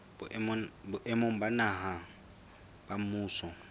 boemong ba naha ba mmuso